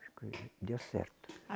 Deu certo.